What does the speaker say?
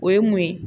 O ye mun ye